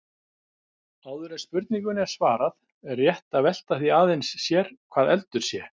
Áður en spurningunni er svarað er rétt að velta því aðeins sér hvað eldur sé.